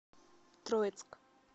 троицк